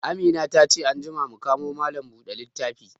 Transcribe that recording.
Amina ta ce anjima mu kamo malam bude littafi